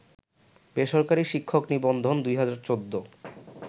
বেসরকারি শিক্ষক নিবন্ধন ২০১৪